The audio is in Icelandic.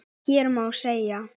Hér má segja að